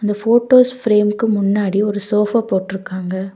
இந்த போட்டோஸ் ஃப்ரேம்க்கு முன்னாடி ஒரு சோஃபா போட்ருக்காங்க.